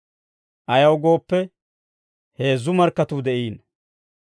Ayaw gooppe, heezzu markkatuu de'iino.